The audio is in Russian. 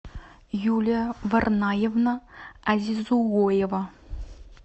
юлия варнаевна азизуоева